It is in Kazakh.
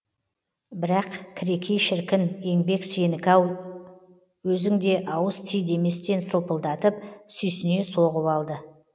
бірақ кірекей шіркін еңбек сенікі еді ау өзің де ауыз ти деместен сылпылдатып сүйсіне соғып алды